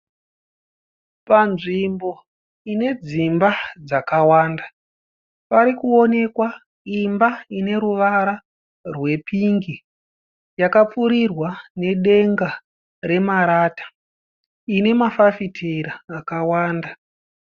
Panzvimbo ine dzimba dzakawanda, parikuonekwa imba ine ruvara rwepingi yakapfurirwa nedenga remarata ine mafafitera akawanda.